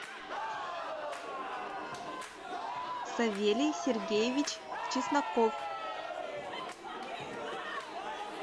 савелий сергеевич чесноков